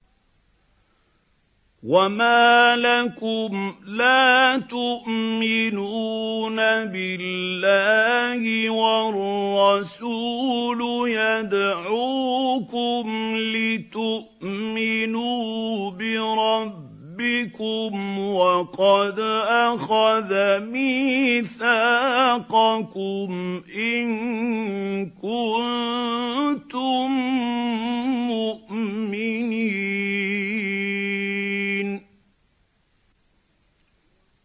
وَمَا لَكُمْ لَا تُؤْمِنُونَ بِاللَّهِ ۙ وَالرَّسُولُ يَدْعُوكُمْ لِتُؤْمِنُوا بِرَبِّكُمْ وَقَدْ أَخَذَ مِيثَاقَكُمْ إِن كُنتُم مُّؤْمِنِينَ